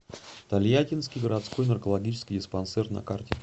тольяттинский городской наркологический диспансер на карте